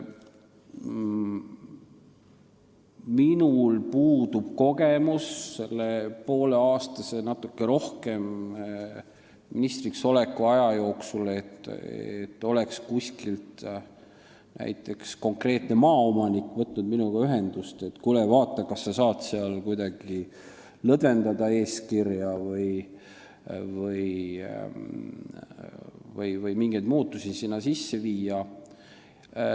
Minul puudub sellest pooleaastasest või natuke pikemast ministriksoleku ajast kogemus, et näiteks mõni konkreetne maaomanik oleks võtnud minuga ühendust, et kuule, vaata, kas sa saad kuidagi lõdvendada eeskirja või mingeid muudatusi sinna sisse viia.